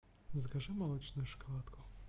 закажи молочную шоколадку